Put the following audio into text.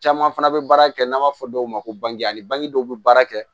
Caman fana bɛ baara kɛ n'an b'a fɔ dɔw ma ko bang a ani bange dɔw bɛ baara kɛ